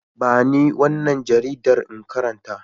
Ba ni wannan jaridar in karanta.